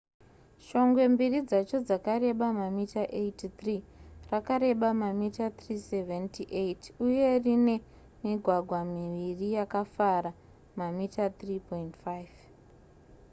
shongwe mbiri dzacho dzakareba mamita 83 rakareba mamita 378 uye rine migwagwa miviri yakafara mamita 3,5